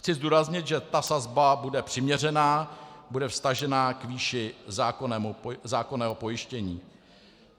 Chci zdůraznit, že ta sazba bude přiměřená, bude vztažená k výši zákonného pojištění.